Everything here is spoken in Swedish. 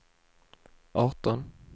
arton